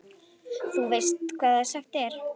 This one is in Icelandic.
Og þú veist hvað sagt er?